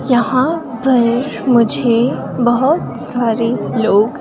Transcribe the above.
यहां पर मुझे बहुत सारे लोग--